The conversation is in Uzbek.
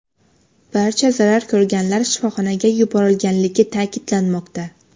Barcha zarar ko‘rganlar shifoxonaga yuborilganligi ta’kidlanmoqda.